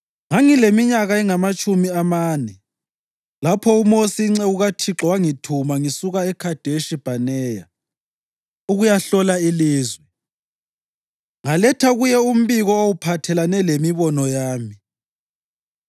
Ngangileminyaka engamatshumi amane lapho uMosi inceku kaThixo yangithuma ngisuka eKhadeshi Bhaneya ukuyahlola ilizwe. Ngaletha kuye umbiko owawuphathelane lemibono yami,